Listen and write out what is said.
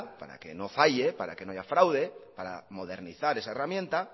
para que no falle para que no haya fraude para modernizar esa herramienta